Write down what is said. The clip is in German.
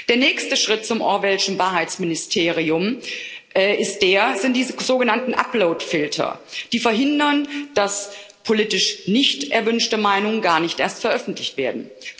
Der nächste Schritt zum Orwellschen Wahrheitsministerium sind die sogenannten Uploadfilter, die bewirken, dass politisch nicht erwünschte Meinungen gar nicht erst veröffentlicht werden.